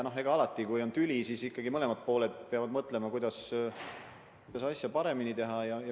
Alati, kui on tüli, siis ikkagi mõlemad pooled peavad mõtlema, kuidas asja paremini teha.